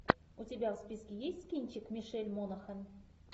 у тебя в списке есть кинчик мишель монахэн